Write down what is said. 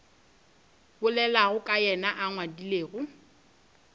bolelago ka yena a ngwadilego